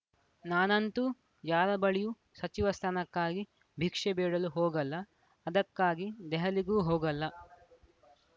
ನಾನಂತೂ ಯಾರ ಬಳಿಯೂ ಸಚಿವ ಸ್ಥಾನಕ್ಕಾಗಿ ಭಿಕ್ಷೆ ಬೇಡಲು ಹೋಗಲ್ಲ ಅದಕ್ಕಾಗಿ ದೆಹಲಿಗೂ ಹೋಗಲ್ಲ